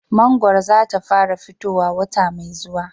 Mangwaro za ta fara fitowa wata mai zuwa